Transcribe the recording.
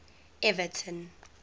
everton